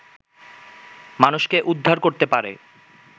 মানুষকে উদ্ধার করতে পারে